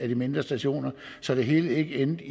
de mindre stationer så det hele ikke endte